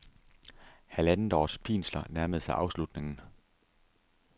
Halvandets års pinsler nærmede sig afslutningen.